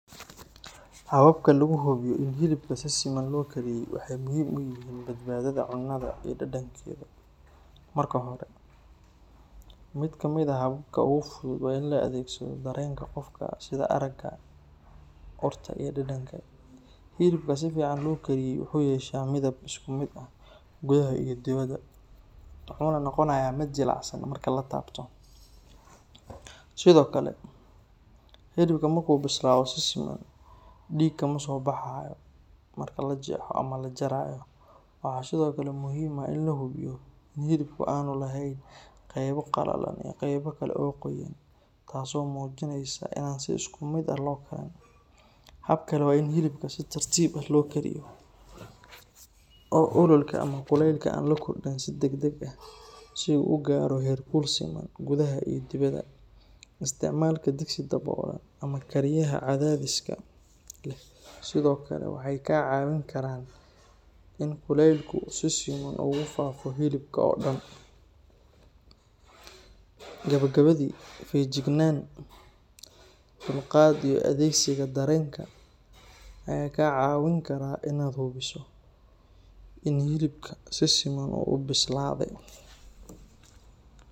Hababka lagu hubiyo in hilibka si siman loo kariyay waxay muhiim u yihiin badbaadada cunnada iyo dhadhankeeda. Marka hore, mid ka mid ah hababka ugu fudud waa in la adeegsado dareenka qofka sida aragga, urta iyo dhadhanka. Hilibka si fiican loo kariyay wuxuu yeeshaa midab isku mid ah gudaha iyo dibadda, wuxuuna noqonayaa mid jilicsan marka la taabto. Sidoo kale, hilibka markuu bislaado si siman, dhiig kama soo baxayo marka la jeexo ama la jarayo. Waxaa sidoo kale muhiim ah in la hubiyo in hilibku aanu lahayn qaybo qalalan iyo qaybo kale oo qoyan, taas oo muujinaysa inaan si isku mid ah loo karin. Hab kale waa in hilibka si tartiib ah loo kariyo oo ololka ama kuleylka aan la kordhin si degdeg ah, si uu u gaaro heer kul siman gudaha iyo dibadda. Isticmaalka digsi daboolan ama kariyaha cadaadiska leh sidoo kale waxay kaa caawin karaan in kuleylku si siman ugu faafo hilibka oo dhan. Gabagabadii, feejignaan, dulqaad iyo adeegsiga dareenkaaga ayaa kaa caawin kara inaad hubiso in hilibka si siman u bislaaday.